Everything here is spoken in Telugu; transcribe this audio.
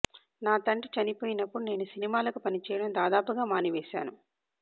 నా తండ్రి చనిపోయినప్పుడు నేను సినిమాలకు పని చేయడం దాదాపుగా మాని వేశాను